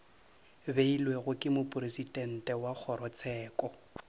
beilwego ke mopresidente wa kgorotsheko